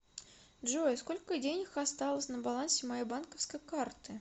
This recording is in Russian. джой сколько денег осталось на балансе моей банковской карты